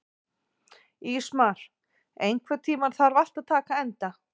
Ísmar, einhvern tímann þarf allt að taka enda.